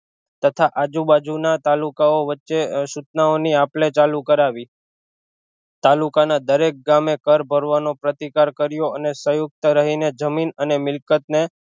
તથા આજુ બાજુ ના તાલુકા ઑ વચ્ચે સૂચના ઓની આપલે ચાલુ કરાવી તાલુકા ના દરેક ગામે કર ભરવાનો પ્રતિકાર કર્યો અને સયુક્ત રહી ને જમીન અને મિલકત ને